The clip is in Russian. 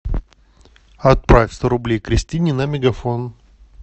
отправь сто рублей кристине на мегафон